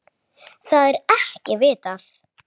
Þau eiga þrjá syni.